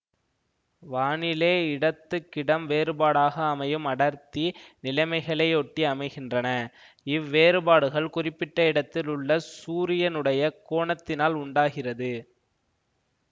வானிலை இடத்துக்கிடம் வேறுபாடாக அமையும் அடர்த்தி நிலைமைகளையொட்டி அமைகின்றன இவ்வேறுபாடுகள் குறிப்பிட்ட இடத்தில் உள்ள சூரியனுடைய கோணத்தினால் உண்டாகிறது